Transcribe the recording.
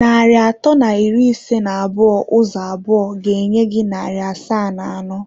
Narị atọ na iri ise na abụọ ụzọ abụọ ga-enye gị narị asaa na anọ.